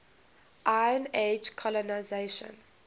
iron age colonisation